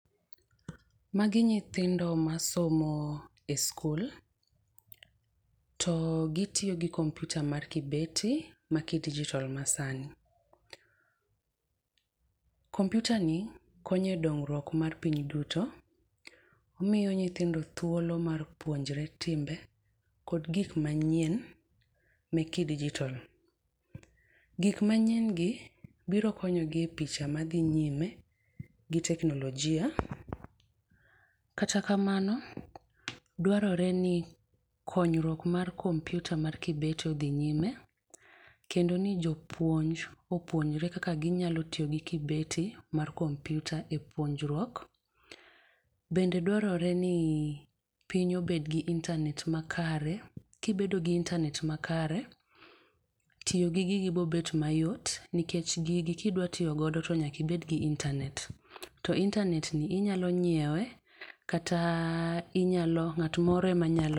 Magi nyithindo masomo e skul, to gitiyo gi kompiuta mar kibeti makidijitol Masani. Kompiutani konyo e dongruok mar piny duto, omiyo nyithindo thuolo mar puonjre timbe kod gik manyien mek kidijitol. Gik manyiengi biro konyogi e picha madhi nyime gi teknolojia, kata kamano dwarore ni konyruok mar kompiuta mar kibeti odhi nyime. Kendo ni jopuonj opuonjre kaka ginyalo tiyo gi kibeti mar kompiuta e puonjruok, bende dwarore ni piny obed gi intanet makare. Kibedo gi intanet makare, tiyo gi gigi bobet mayot nikech gigi kidwa tiyogodo to nyaka ibed giintanet. To intanetni inyalo nyiewe kata inyalo ng'at moro emanyalo